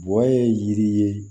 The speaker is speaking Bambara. Bɔ ye yiri ye